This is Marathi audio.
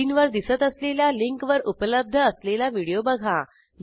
स्क्रीनवर दिसत असलेल्या लिंकवर उपलब्ध असलेला व्हिडिओ बघा